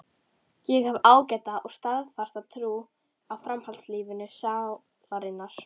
Ég hef ágæta og staðfasta trú á framhaldslífi sálarinnar.